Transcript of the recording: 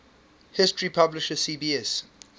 history publisher cbs